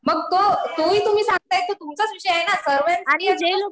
मग तो हि तुम्ही सांगताय तो तुमचाच विषय आहे ना. सर्वांचा